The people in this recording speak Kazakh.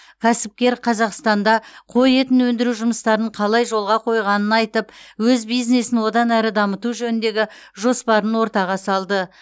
кәсіпкер қазақстанда қой етін өндіру жұмыстарын қалай жолға қойғанын айтып өз бизнесін одан әрі дамыту жөніндегі жоспарын ортаға салды